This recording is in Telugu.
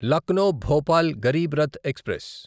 లక్నో భోపాల్ గరీబ్ రథ్ ఎక్స్ప్రెస్